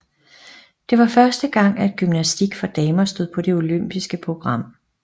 Det var første gang at gymnastik for damer stod på det olympiske program